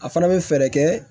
A fana bɛ fɛɛrɛ kɛ